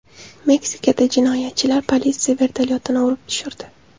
Meksikada jinoyatchilar politsiya vertolyotini urib tushirdi.